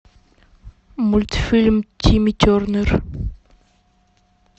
мультфильм тимми тернер